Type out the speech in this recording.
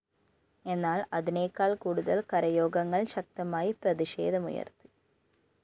എന്നാല്‍ അതിനേക്കാള്‍ കൂടുതല്‍ കരയോഗങ്ങള്‍ ശക്തമായി പ്രതിഷേധമുയര്‍ത്തി